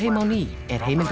á ný nú fyrir